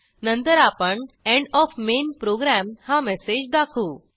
नंतर आपण end OF main program हा मेसेज दाखवू